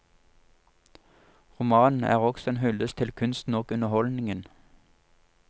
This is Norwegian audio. Romanen er også en hyldest til kunsten og underholdningen.